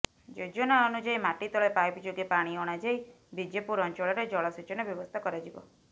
ଯୋଜନା ଅନୁଯାୟୀ ମାଟିତଳେ ପାଇପ ଯୋଗେ ପାଣି ଅଣାଯାଇ ବିଜେପୁର ଅଞ୍ଚଳରେ ଜଳସେଚନ ବ୍ୟବସ୍ଥା କରାଯିବ